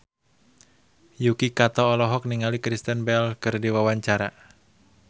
Yuki Kato olohok ningali Kristen Bell keur diwawancara